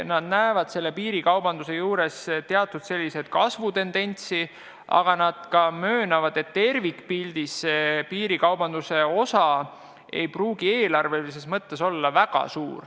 Nad näevad selle teatud kasvutendentsi, aga ka möönavad, et tervikpildis ei pruugi piirikaubanduse osa eelarve mõttes olla väga suur.